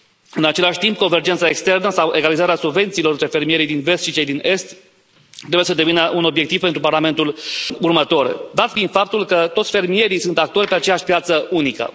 În același timp, convergența externă sau egalizarea subvențiilor între fermierii din Vest și cei din Est trebuie să devină un obiectiv pentru Parlamentul următor, dat fiind faptul că toți fermierii sunt actori pe aceeași piață unică.